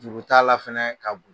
Juru t'a la fɛnɛ ka